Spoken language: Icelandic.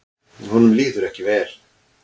Honum líður ekki vel.